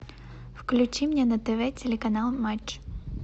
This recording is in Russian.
включи мне на тв телеканал матч